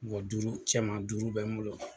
duuru cɛman duuru bɛ n bolo